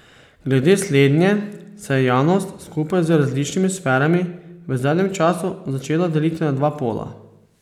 Glede slednje se je javnost skupaj z različnimi sferami v zadnjem času začela deliti na dva pola.